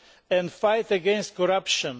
and the fight against corruption.